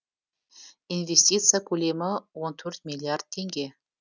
инвестиция көлемі он төрт миллиард теңге